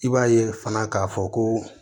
I b'a ye fana k'a fɔ ko